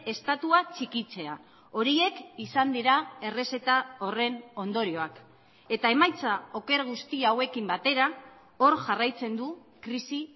estatua txikitzea horiek izan dira errezeta horren ondorioak eta emaitza oker guzti hauekin batera hor jarraitzen du krisi